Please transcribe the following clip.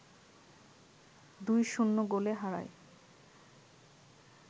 ২-০ গোলে হারায়